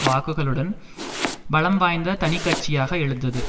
வாக்குகளுடன் பலம்வாய்ந்த தனிக்கட்சியாக எழுந்தது